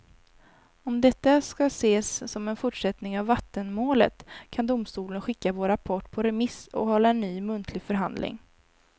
Om detta ska ses som en fortsättning av vattenmålet kan domstolen skicka vår rapport på remiss och hålla ny muntlig förhandling.